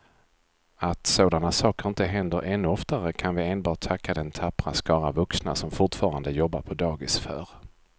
Att sådana saker inte händer ännu oftare kan vi enbart tacka den tappra skara vuxna som fortfarande jobbar på dagis för.